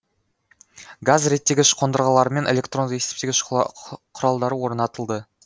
газ реттегіш қондырғылар мен электронды есептегіш құралдары орнатылды